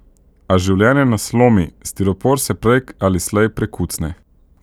A življenje nas lomi, stiropor se prej ali slej prekucne.